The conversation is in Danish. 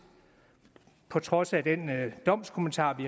på trods af den domskommentar vi